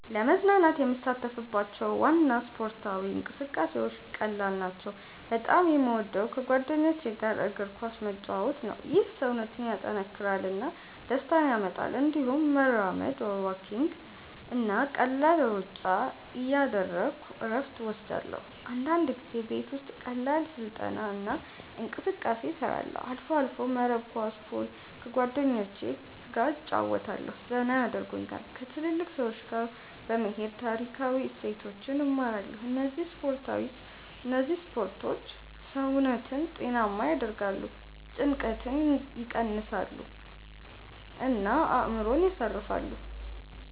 ለመዝናናት የምሳተፍባቸው ዋና ስፖርታዊ እንቅስቃሴዎች ቀላል ናቸው። በጣም የምወደው ከጓደኞች ጋር እግር ኳስ መጫወት ነው። ይህ ሰውነትን ያጠናክራል እና ደስታ ያመጣል። እንዲሁም መራመድ (walking) እና ቀላል ሩጫ እያደረግሁ እረፍት እወስዳለሁ። አንዳንድ ጊዜ ቤት ውስጥ ቀላል ስልጠና እና እንቅስቃሴ እሰራለሁ። አልፎ አልፎ መረብ ኳስ፣ ፑል ከጓደኞቸ ገ እጨረወታለሁ ዘና የደርጉኛል። ከትልልቅ ሰዎች ጋ በመሄድ ታሪካዊ እሴቶችን እማራለሁ እነዚህ ስፖርቶች ሰውነትን ጤናማ ያደርጋሉ፣ ጭንቀትን ይቀንሳሉ እና አእምሮን ያሳርፋሉ።